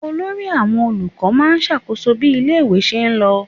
Olórí àwọn olùkọ́ máa ń ṣàkóso bí ilé-ìwé ṣe lọ.